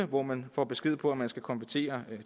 hvor man får besked på at man skal konvertere